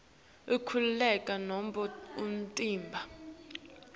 inkhululeko nobe umtimba